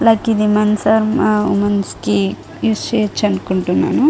Like ఇది men's and women's use చెయ్యచ్చు అనుకుంటున్నాను.